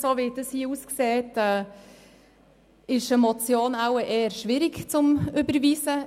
Wie es nun aussieht, ist eine Motion wohl eher schwierig zu überweisen.